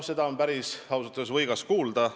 Seda on ausalt öeldes päris võigas kuulda.